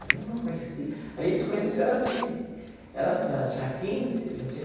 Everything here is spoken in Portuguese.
A Nilma eu conheci... A gente se conheceu era assim, era assim ela tinha quinze, eu já tinha.